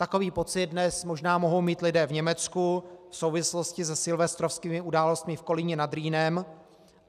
Takový pocit dnes možná mohou mít lidé v Německu v souvislosti se silvestrovskými událostmi v Kolíně nad Rýnem.